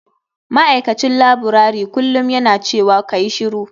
Ma'aikacin laburare kullum yana cewa kayi shiru.